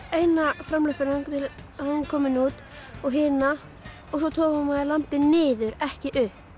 eina framlöppina þangað til að hún var komin út og hina og svo togar maður lambið niður ekki upp